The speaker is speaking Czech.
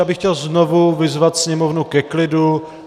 Já bych chtěl znovu vyzvat sněmovnu ke klidu.